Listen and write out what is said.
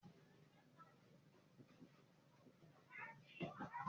Ṣé o gbàgbọ́ pé àwọn jagunjagun kán lọ sí ìsàlẹ̀ ilẹ̀?